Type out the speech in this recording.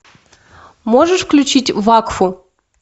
можешь включить вакфу